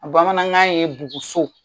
bamanankan ye buguso.